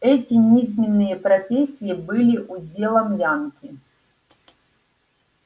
эти низменные профессии были уделом янки